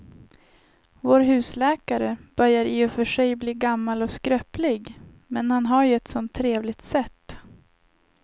Vår husläkare börjar i och för sig bli gammal och skröplig, men han har ju ett sådant trevligt sätt!